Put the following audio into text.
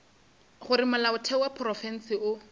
gore molaotheo wa profense o